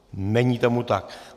Není tomu tak.